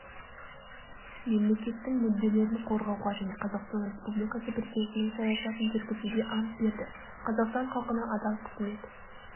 мемлекеттің мүдделерін қорғауға және қазақстан республикасы президентінің саясатын жүргізуге ант берді қазақстан халқына адал қызмет